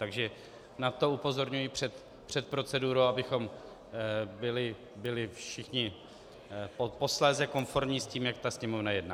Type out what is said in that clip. Takže na to upozorňuji před procedurou, abychom byli všichni posléze konformní s tím, jak ta Sněmovna jedná.